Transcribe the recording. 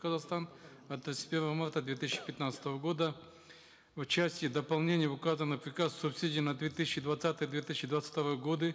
казахстан от тридцать первого марта две тысячи пятнадцатого года в части дополнений в указанный приказ субсидий на две тысячи двадцатый две тысячи двадцать второй годы